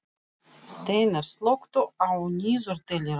Steinar, slökktu á niðurteljaranum.